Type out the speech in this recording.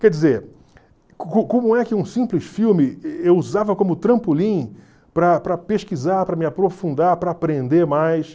Quer dizer, como é que um simples filme eu usava como trampolim para para pesquisar, para me aprofundar, para aprender mais?